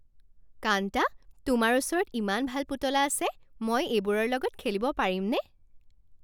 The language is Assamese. কান্তা, তোমাৰ ওচৰত ইমান ভাল পুতলা আছে। মই এইবোৰৰ লগত খেলিব পাৰিমনে?